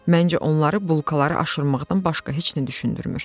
Məncə onları bulkaları aşırmaqdan başqa heç nə düşündürmür.